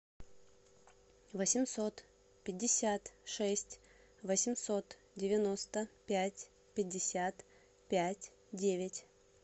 восемьсот пятьдесят шесть восемьсот девяносто пять пятьдесят пять девять